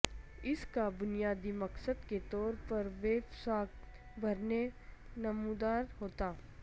اس کا بنیادی مقصد کے طور پر ویب ساخت بھرنے نمودار ہوتا